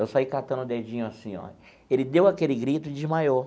Eu saí catando o dedinho assim ó. Ele deu aquele grito e desmaiou.